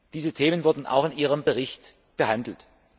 Diese Themen wurden auch in Ihrem Bericht behandelt.